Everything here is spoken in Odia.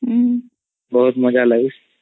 ବହୁତ୍ ମଜା ଲାଗେ